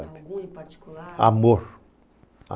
Alguns em particular? Amor.